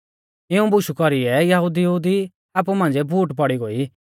इऊं बुशु कौरीऐ यहुदिऊ दी आपु मांझ़िऐ फूट पौड़ी गोई